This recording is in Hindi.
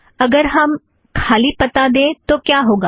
आगर हम खाली पता दें तो क्या होगा